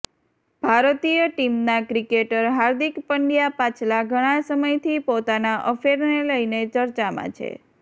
ભારતીય ટીમના ક્રિકેટર હાર્દિક પંડ્યા પાછલા ઘણાં સમયથી પોતાના અફેરને લઇને ચર્ચામાં છે